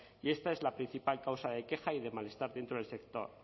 y esta es la principal causa de queja y de malestar dentro del sector